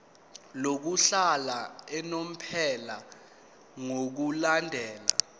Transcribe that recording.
lokuhlala unomphela ngokulandela